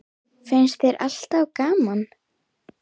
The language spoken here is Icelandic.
Finnst þér alltaf gaman?